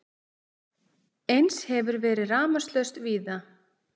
Eins hefur verið rafmagnslaust víða